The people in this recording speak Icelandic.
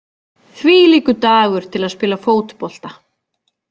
Þvílíkur dagur til að spila fótbolta!